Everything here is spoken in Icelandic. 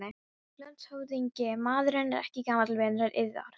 LANDSHÖFÐINGI: Maðurinn er ekki gamall vinur yðar?